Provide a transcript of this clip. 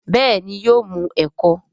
béèni yóò mu eko.